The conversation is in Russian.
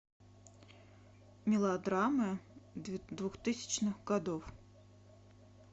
мелодрамы двухтысячных годов